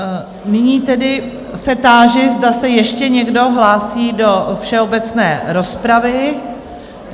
Nyní tedy se táži, zda se ještě někdo hlásí do všeobecné rozpravy?